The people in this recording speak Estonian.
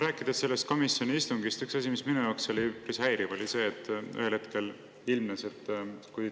Räägin sellest komisjoni istungist ja asjast, mis minu jaoks oli üpris häiriv.